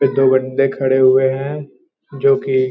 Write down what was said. ये दो बन्दे खड़े हुऐ हैं जो कि --